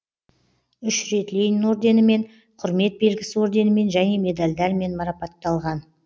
үш рет ленин орденімен құрмет белгісі орденімен және медальдермен марапатталған